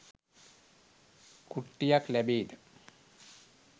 කුට්ටියක් ලැබේද